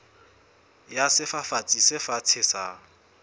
ya sefafatsi se fatshe sa